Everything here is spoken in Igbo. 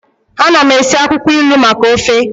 Ana m esi akwukwo ilu maka ofe